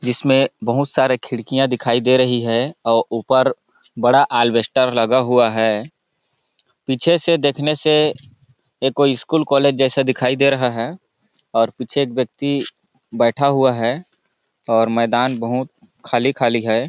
जिसमें बहुत सारे खिड़कियां दिखाई दे रही है और ऊपर बड़ा आलवेस्टर लगा हुआ है पीछे से देखने से एक कोई स्कूल कॉलेज जैसा दिखाई दे रहा है और पीछे एक व्यक्ति बैठा हुआ है और मैदान बहुत खाली-खाली है।